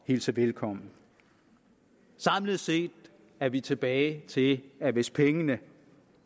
hilse velkommen samlet set er vi tilbage til at hvis pengene